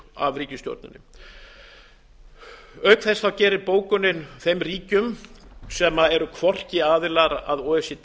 af ríkisstjórninni auk þess gerir bókunin þeim ríkjum sem eru hvorki aðilar að o e c